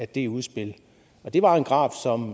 det udspil det var en graf